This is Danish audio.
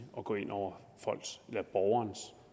at gå ind over